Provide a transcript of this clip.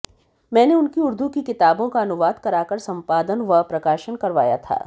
मैंने उनकी उर्दू की किताबों का अनुवाद कराकर संपादन व प्रकाशन करवाया था